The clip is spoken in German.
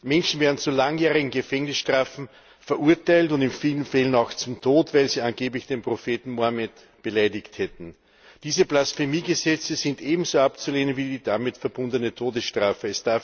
Menschen werden zu langjährigen Gefängnisstrafen verurteilt und in vielen Fällen auch zum Tod, weil sie angeblich den Propheten Mohammed beleidigt haben. Diese Blasphemiegesetze sind ebenso abzulehnen wie die damit verbundene Todesstrafe.